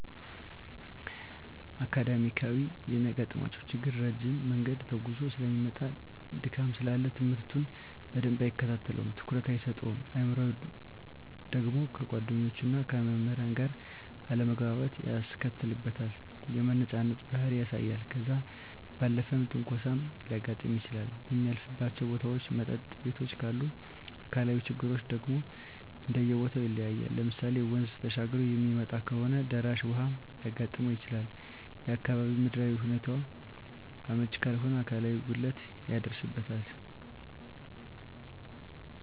አካዳሚካያዊ የሚያጋጥመው ችግር ረጅም መንገድ ተጉዞ ሰለሚመጣ ድካም ስላለ ትምህርቱን በደንብ አይከታተለውም ትኩረት አይሰጠውም። አእምሯዊ ደግሞ ከጓደኞቹና ከመምህራን ጋር አለመግባባት ያስከትልበታል የመነጫነጭ ባህሪ ያሳያል። ከዛ ባለፈም ትንኮሳም ሊያጋጥም ይችላል በሚያልፍባቸው ቦታዎች መጠጥ ቤቶችም ካሉ። አካላዊ ችግሮች ደግሞ እንደየቦተው ይለያያል ለምሳሌ ወንዝ ተሻግሮ የሚመጣ ከሆነ ደራሽ ውሀ ሊያጋጥመው ይችላል፣ የአካባቢው ምድራዊ ሁኔታው አመች ካልሆነ አካላዊ ጉድለት ይደርስበታል።